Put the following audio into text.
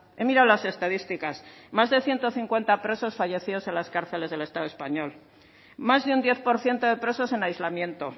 he mirado las estadísticas más de ciento cincuenta presos fallecidos en las cárceles del estado español más de un diez por ciento de presos en aislamiento